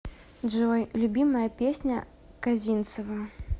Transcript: джой любимая песня козинцева